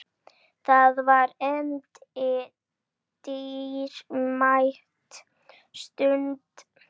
Það var henni dýrmæt stund.